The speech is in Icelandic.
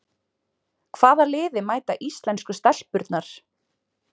Hvaða liði mæta íslensku stelpurnar?